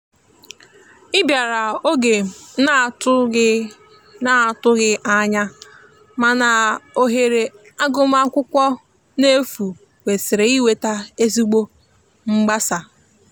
i biara oge m na atu ghi na atu ghi anya mana ohere agụma akwụkwo n'efu kwesiri iweta ezigbo mgbasa.